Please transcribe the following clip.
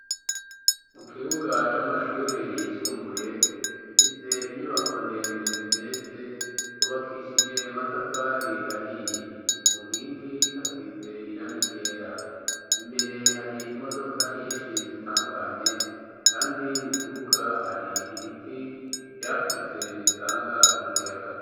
Mu kibuga c'amashuri yisumbuye gifise inyubako ndende zigeretse rubakishije matafari ahiye ku nkingi hasize irangi ryera imbere hari imodoka nyinshi zitandukanye kandi mu kibuga hari ibiti byakuze bitanga ankuyaga.